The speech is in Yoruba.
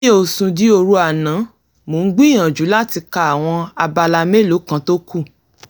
mi ò sùn di òru àná mo ń gbìyànjú láti ka àwọn abala mélòó kan tó kù